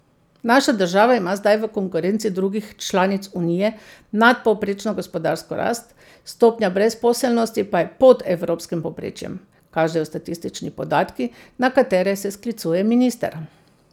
Naša država ima zdaj v konkurenci drugih članic Unije nadpovprečno gospodarsko rast, stopnja brezposelnosti pa je pod evropskim povprečjem, kažejo statistični podatki, na katere se sklicuje minister.